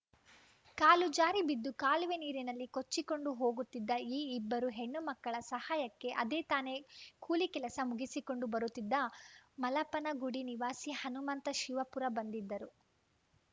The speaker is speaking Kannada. ಕಾಲು ಜಾರಿ ಬಿದ್ದು ಕಾಲುವೆ ನೀರಿನಲ್ಲಿ ಕೊಚ್ಚಿಕೊಂಡು ಹೋಗುತ್ತಿದ್ದ ಈ ಇಬ್ಬರು ಹೆಣ್ಣು ಮಕ್ಕಳ ಸಹಾಯಕ್ಕೆ ಅದೇ ತಾನೆ ಕೂಲಿ ಕೆಲಸ ಮುಗಿಸಿಕೊಂಡು ಬರುತ್ತಿದ್ದ ಮಲಪನಗುಡಿ ನಿವಾಸಿ ಹನುಮಂತ ಶಿವಪುರ ಬಂದಿದ್ದರು